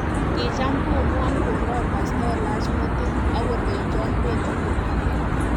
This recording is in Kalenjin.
Kicham komuonkondoi pastolat metit akolenchon pendi koparon